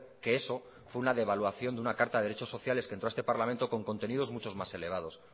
que eso fue una devaluación de una carta de derechos sociales que entró a este parlamento con contenidos muchos más elevados